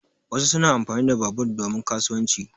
Wasu suna amfani da babur domin kasuwanci.